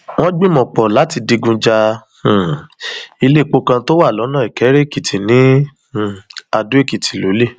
wọn gbìmọ pọ láti digun ja um iléèpò kan tó wà lọnà ìkéréèkìtì ní um àdóèkìtì lọlẹ